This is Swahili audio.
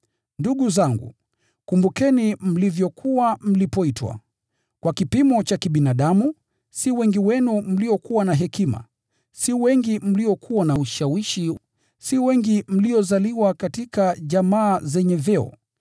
Ndugu zangu, kumbukeni mlivyokuwa mlipoitwa. Kwa kipimo cha kibinadamu, si wengi wenu mliokuwa na hekima. Si wengi mliokuwa na ushawishi, si wengi mliozaliwa katika jamaa zenye vyeo.